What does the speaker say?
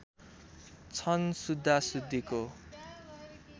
छन् शुद्धा शुद्धीको